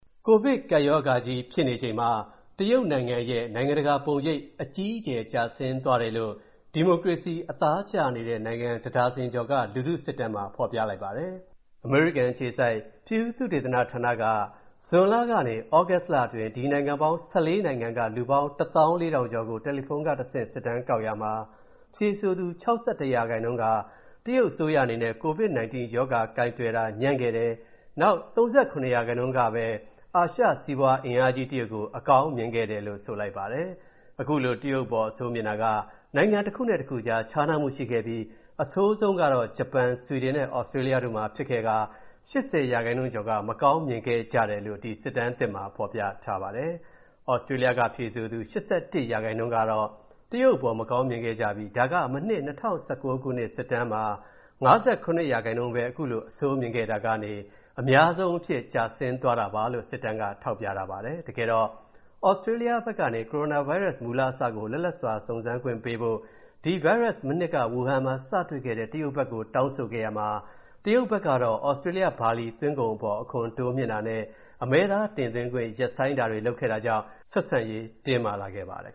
ကိုဗစ်ကပ်ရောဂါကြီးဖြစ်နေချိန်မှာ တရုတ်နိုင်ငံ နိုင်ငံတကာပုံရိပ် အကြီးအကျယ်ကျဆင်းသွားတယ်လို့ ဒီမိုကရေစီအသားကျနေတဲ့ နိုင်ငံ တစ်ဒါဇင်ကျော်က လူထုစစ်တမ်းသစ်မှာ ဖော်ပြလိုက်ပါတယ်။ အမေရိကန်အခြေစိုက် Pew သုတေသနဌာနကနေ ဇွန်လကနေ သြဂုတ်လအတွင်း ဒီနိုင်ငံပေါင်း ၁၄ နိုင်ငံက လူပေါင်း ၁၄,၀၀၀ ကျော်ကို တယ်လီဖုန်းကတဆင့် စစ်တမ်းကောက်ရာမှာ၊ ဖြေဆိုသူ ၆၁ ရာခိုင်နှုန်းက တရုတ်အစိုးရအနေနဲ့ COVID 19 ကပ်ရောဂါ ကိုင်တွယ်တာညံ့ခဲ့တယ်။ နောက် ၃၇ ရာခိုင်နှုန်းကပဲ အာရှစီးပွားအင်အားကြီး တရုတ်ကို အကောင်းမြင်ခဲ့တယ်လို့ ဆိုပါတယ်။ ခုလို တရုတ်အပေါ် အဆိုးမြင်တာက နိုင်ငံတစ်ခုနဲ့ တစ်ခုကြား ခြားနားမူရှိခဲ့ပြီး၊ အဆိုးဆုံးကတော့ ဂျပန်၊ ဆွီဒင်နဲ့ သြစတြေးလျတို့မှာဖြစ်ခဲ့ကာ၊ ၈၀ ရာခိုင်နှုန်းကျော်က မကောင်းမြင်ခဲ့ကြတယ်လို့ စစ်တမ်းမှာ ဖော်ပြထားပါတယ်။ သြစတြေးလျက ဖြေဆိုသူ ၈၁ ရာခိုင်နှုန်းက တရုတ်အပေါ် မကောင်းမြင်ခဲ့ပြီး၊ ဒါက မနှစ် ၂၀၁၉ ခုနှစ် စစ်တမ်းမှာ ၅၇ ရာခိုင်နှုန်းပဲ ခုလိုအဆိုမြင့်ခဲ့တာကနေ အများဆုံးအဖြစ် ကျဆင်းသွားတာပါလို့ စစ်တမ်းက ထောက်ပြထားပါတယ်။ တကယ်တော့ သြစတြေးလျဘက်ကနေ ကိုရိုနာဗိုင်းရပ်စ် မူလအစကို လွတ်လပ်စွာ စုံစမ်းစစ်ဆေးခွင့်ပေးဖို့၊ ဒီဗိုင်းရပ်စ် မနှစ်က ဝူဟန်မှာ စတွေ့ခဲ့တဲ့ တရုတ်ဘက်ကို တောင်းဆိုခဲ့ရာမှာ၊ တရုတ်ဘက်ကတော့ သြစတြေးလျဘာလီသွင်းကုန်အပေါ် အခွန်တိုးမြှင့်တာနဲ့ အမဲသားတင်သွင်းခွင့်ရပ်ဆိုင်းတာတွေ လုပ်ခဲ့တာကြောင့် ဆက်ဆံရေးတင်းမာလာခဲ့ပါတယ်